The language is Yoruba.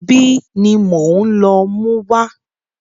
Ṣíbí ni mò ń lọ mú wá.